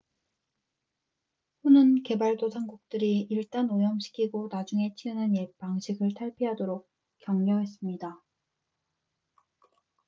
"후는 개발도상국들이 "일단 오염시키고 나중에 치우는 옛 방식을 탈피하도록" 격려했습니다.